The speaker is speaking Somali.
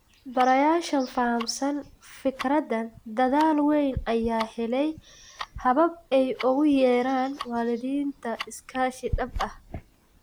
Barayaasha fahamsan fikraddan dadaal weyn ayaa helay habab ay ugu yeeraan waalidiinta iskaashi dhab ah.